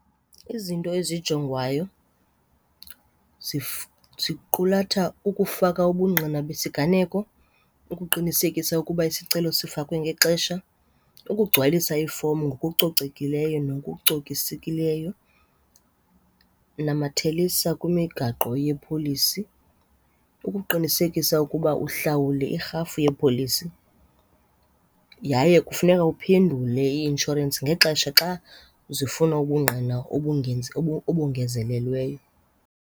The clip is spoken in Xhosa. Izinto ezijongwayo ziqulatha ukufaka ubungqina besiganeko, ukuqinisekisa ukuba isicelo sifakwe ngexesha, ukugcwalisa ifomu ngokucocekileyo nokucokisekileyo, namathelisa kwimigaqo yepholisi ukuqinisekisa ukuba uhlawule irhafu yepholisi. Yaye kufuneka uphendule ii-inshorensi ngexesha xa zifuna ubungqina obongezelelweyo.